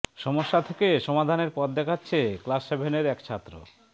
সমস্যা থেকে সমাধানের পথ দেখাচ্ছে ক্লাস সেভেনের এক ছাত্র